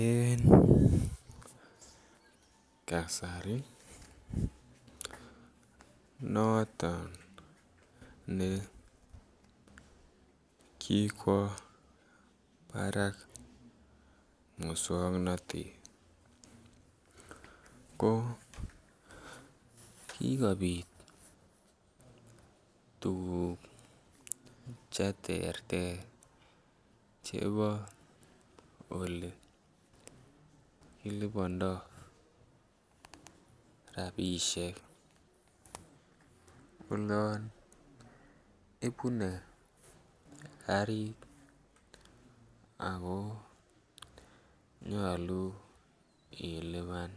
En kasari noton ne kikwo barak moswoknatet ko kikobit tuguk Che terter Chebo Ole kilibandoi rabisiek olon ibune karit ako nyolu ilipan